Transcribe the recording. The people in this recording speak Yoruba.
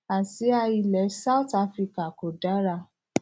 àsìá ilẹ south africa kò dára